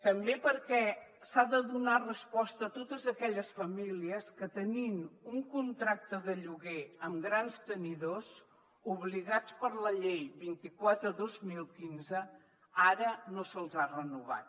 també perquè s’ha de donar resposta a totes aquelles famílies que tenint un contracte de lloguer amb grans tenidors obligats per la llei vint quatre dos mil quinze ara no se’ls ha renovat